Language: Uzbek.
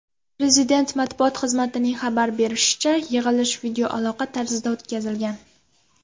Prezident matbuot xizmatining xabar berishicha , yig‘ilish videoaloqa tarzida o‘tkazilgan.